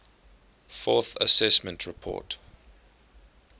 fourth assessment report